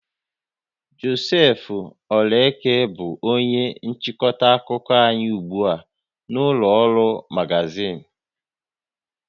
Joseph Oraeke bụ onye nchịkọta akụkọ anyị ugbu a na ụlọ ọrụ magazịn